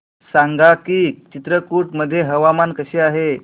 सांगा की चित्रकूट मध्ये हवामान कसे आहे